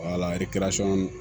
Wala